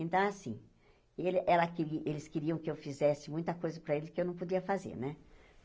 Então, assim, ele ela queri eles queriam que eu fizesse muita coisa para eles que eu não podia fazer, né?